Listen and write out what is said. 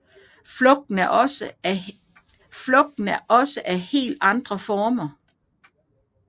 Frugten er også af helt andre former